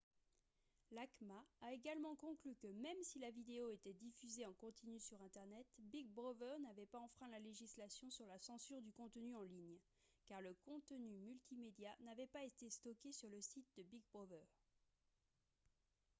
l'acma a également conclu que même si la vidéo était diffusée en continu sur internet big brother n'avait pas enfreint la législation sur la censure du contenu en ligne car le contenu multimédia n'avait pas été stocké sur le site de big brother